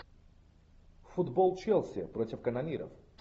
футбол челси против канониров